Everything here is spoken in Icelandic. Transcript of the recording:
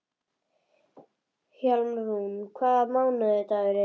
Hjálmrún, hvaða mánaðardagur er í dag?